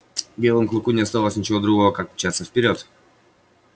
белому клыку не оставалось ничего другого как мчаться вперёд